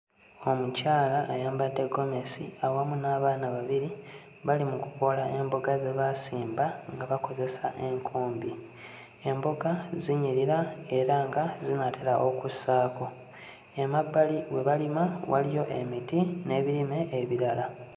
Omukyala ayambadde ggomesi awamu n'abaana babiri bali mu kukoola emboga ze baasimba nga bakozesa enkumbi emboga zinyirira era nga zinaatera okussaako emabbali we balima waliyo emiti n'ebirime ebirala.